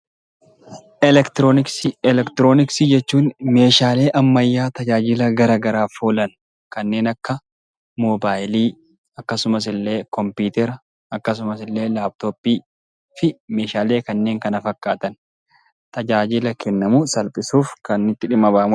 Eleektirooniksii Eleektirooniksii jechuun Meeshaalee ammayyaa tajaajila garaagaraaf oolan kanneen akka moobaayilii akkasumas illee kompiitara akkasumas illee laapitooppii fi Meeshaalee kanneen kana fakkaatan tajaajila kennaman salphisuuf kan itti dhimma bahamudha.